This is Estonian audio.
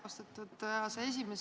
Austatud aseesimees!